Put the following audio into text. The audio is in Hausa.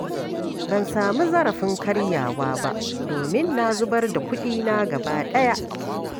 Ban sami zarafin karyawa ba domin na zubar da kuɗina gaba ɗaya.